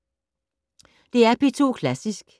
DR P2 Klassisk